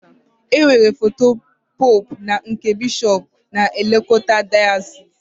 E nwere foto pope na nke bishop na-elekota dayasis.